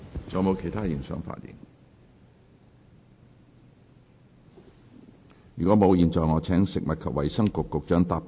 如果沒有，我現在請食物及衞生局局長答辯。